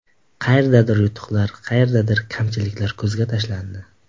Qayerdadir yutuqlar, qayerdadir kamchiliklar ko‘zga tashlandi.